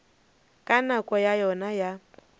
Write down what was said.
ka nako ya yona ya